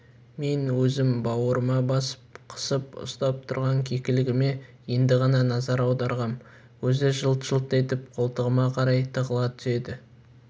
мен өзім бауырыма басып қысып ұстап тұрған кекілігіме енді ғана назар аударғам көзі жылт-жылт етіп қолтығыма қарай тығыла түседі